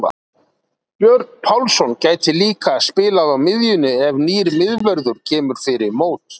Björn Pálsson gæti líka spilað á miðjunni ef nýr miðvörður kemur fyrir mót.